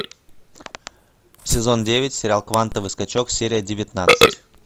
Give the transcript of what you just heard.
сезон девять сериал квантовый скачок серия девятнадцать